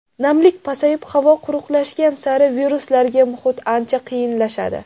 Namlik pasayib, havo quruqlashgan sari viruslarga muhit ancha qiyinlashadi.